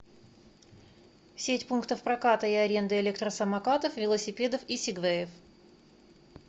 сеть пунктов проката и аренды электросамокатов велосипедов и сигвеев